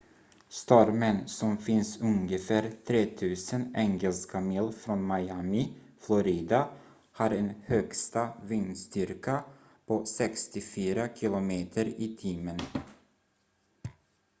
stormen som finns ungefär 3 000 engelska mil från miami florida har en högsta vindstyrka på 64 km/h